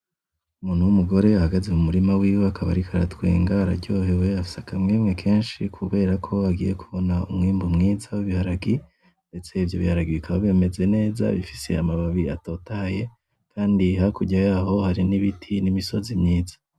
Umuntu wumugore ahagaze mumurima wiwe, akaba ariko aratwenga, araryohewe afise akamwemwe kenshi kubera ko agiye kubona umwimbu mwiza wibiharage, ndetse ivyo biharage bikaba binameze neza bifise amababi atotaye, kandi hakurya yaho hari nibiti nimisozi myiza